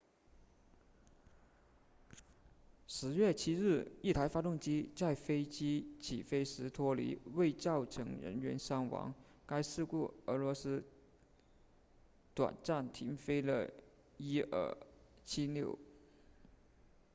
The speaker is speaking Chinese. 10月7日一台发动机在飞机起飞时脱离未造成人员伤亡该事故后俄罗斯短暂停飞了伊尔76